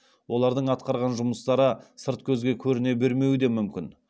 олардың атқарған жұмыстары сырт көзге көріне бермеуі де мүмкін